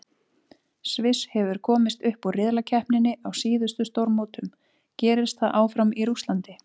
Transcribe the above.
Sviss hefur komist upp úr riðlakeppninni á síðustu stórmótum, gerist það áfram í Rússlandi?